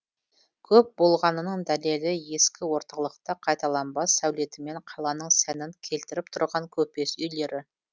көп болғанының дәлелі ескі орталықта қайталанбас сәулетімен қаланың сәнін келтіріп тұрған көпес үйлері